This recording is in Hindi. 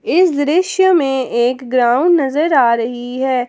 इस दृश्य में एक ग्राउंड नजर आ रही है।